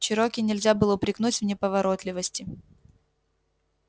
чероки нельзя было упрекнуть в неповоротливости